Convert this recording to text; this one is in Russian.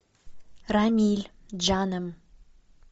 рамиль джанем